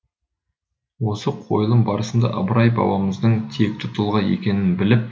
осы қойылым барысында ыбырай бабамыздың текті тұлға екенін біліп